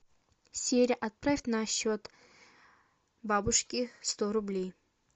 сири отправь на счет бабушки сто рублей